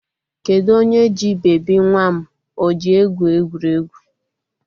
Kedu onye ji bebi nwa m o ji egwu egwuregwu?